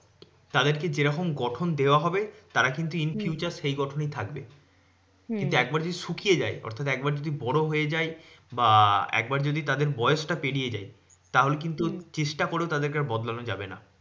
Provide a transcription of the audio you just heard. তাদেরকে যেরকম গঠন দেওয়া হবে, তারা কিন্তু in future হম সেই গঠনই থাকবে কিন্তু একবার যদি শুকিয়ে যায়, অর্থাৎ একবার যদি বড় হয়ে যায়, বা একবার যদি তাদের বয়সটা পেরিয়ে যায়, তাহলে কিন্তু হম চেষ্টা করেও তাদের কে আর বদলানো যাবে না।